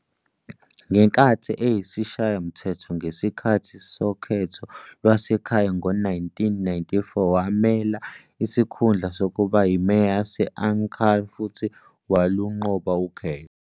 Ngenkathi eyisishayamthetho ngesikhathi sokhetho lwasekhaya ngo-1994, wamela isikhundla sokuba yiMeya yase-Ankara futhi walunqoba ukhetho.